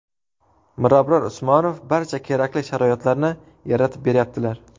Mirabror Usmonov barcha kerakli sharoitlarni yaratib berayaptilar.